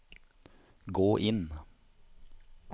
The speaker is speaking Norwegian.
gå inn